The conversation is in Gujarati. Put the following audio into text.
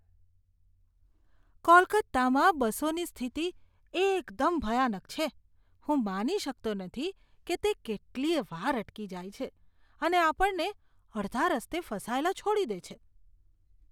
કોલકાતામાં બસોની સ્થિતિ એકદમ ભયાનક છે! હું માની શકતો નથી કે તે કેટલીય વાર અટકી જાય છે અને આપણને અડધા રસ્તે ફસાયેલા છોડી દે છે.